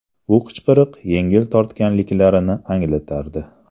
Bu qichqiriq yengil tortganliklarini anglatardi.